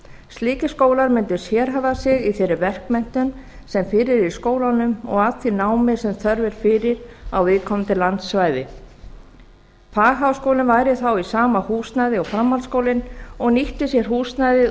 slíkir skólar mundu sérhæfa sig í þeirri verkmenntun sem fyrir er í skólanum og að því námi sem þörf er fyrir á viðkomandi landsvæði fagháskólinn væri þá í sama húsnæði og framhaldsskólinn og nýtti sér húsnæðið